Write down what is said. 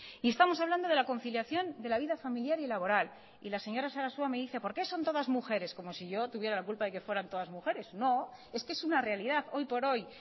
y estamos hablando de la conciliación de la vida familiar y laboral y la señora sarasua me dice por qué no son todas mujeres como si yo tuviera la culpa de que fueran todas mujeres no es que es una realidad hoy por hoy